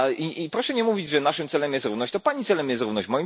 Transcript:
I proszę nie mówić, że naszym celem jest równość, to Pani celem jest równość.